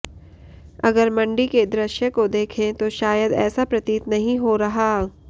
अगर मंडी के दृश्य को देखें तो शायद ऐसा प्रतीत नहीं हो रहा